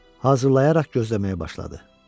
Hazırlayaraq gözləməyə başladı.